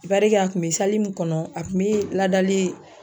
i parike a kun be sali min kɔnɔ a kun be ladali